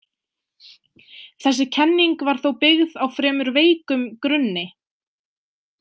Þessi kenning var þó byggð á fremur veikum grunni.